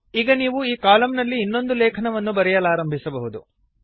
ಈಗ ನೀವು ಈ ಕಾಲಮ್ ನಲ್ಲಿ ಇನ್ನೊಂದು ಲೇಖನವನ್ನು ಬರೆಯಲಾರಂಭಿಸಬಹುದು